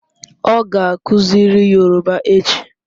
Ọ ga-akuziri Yoruba echi